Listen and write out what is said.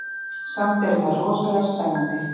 Samt eru þær rosalega spennandi.